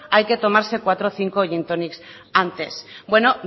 hay que tomarse cuatro o cinco gin tonics antes bueno